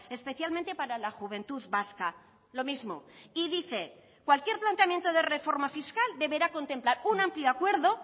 especialmente para la juventud vasca lo mismo y dice cualquier planteamiento de reforma fiscal deberá contemplar un amplio acuerdo